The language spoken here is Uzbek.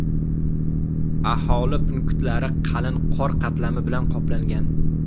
Aholi punktlari qalin qor qatlami bilan qoplangan.